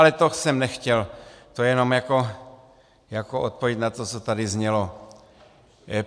Ale to jsem nechtěl, to jen jako odpověď na to, co tady znělo.